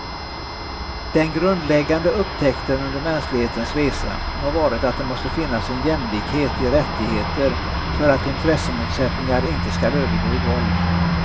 Den grundläggande upptäckten under mänsklighetens resa har varit att det måste finnas en jämlikhet i rättigheter för att intressemotsättningar inte ska övergå i våld.